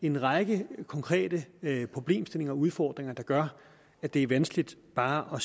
en række konkrete problemstillinger og udfordringer der gør at det er vanskeligt bare